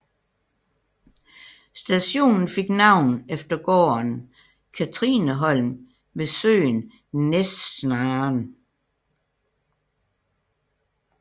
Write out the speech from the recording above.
Stationen fik navn efter gården Cathrineholm ved søen Näsnaren